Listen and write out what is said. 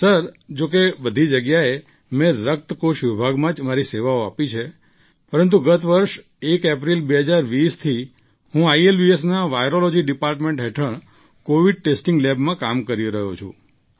sir જોકે બધી જગ્યાએ મેં રક્ત કોષ વિભાગમાં મારી સેવાઓ આપી પરંતુ ગત વર્ષે ૧ એપ્રિલ ૨૦૨૦થી હું આઈએલબીએસના વાયરૉલૉજી ડિપાર્ટમેન્ટ હેઠળ કૉવિડ ટેસ્ટિંગ લેબમાં કામ કરી રહ્યો છું